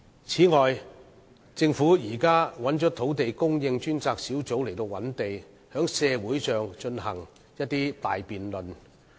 此外，政府現時交由土地供應專責小組負責覓地，並在社會上進行大辯論。